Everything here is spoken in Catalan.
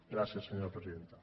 gràcies senyora presidenta